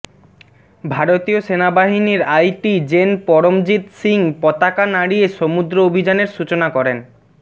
ভারতীয় সেনাবাহিনীর আইটি জেন পরমজিৎ সিং পতাকা নাড়িয়ে সমুদ্র অভিযানের সূচনা করেন